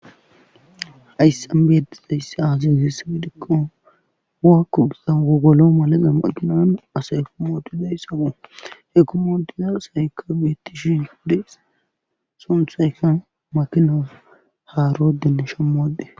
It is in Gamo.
hayssan beetizaysse aazansi safidhikko waakko gizan gogolo malaqa maqinan asayekomooduday sabu hekomoodiza asaykka beettishin hudes sunthayka makinaf haaroodenne shommoode